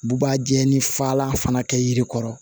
Bubajalani fagalan fana kɛ yiri kɔrɔ